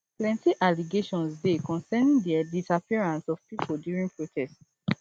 plenty allegations dey concerning di disappearances of pipo during protests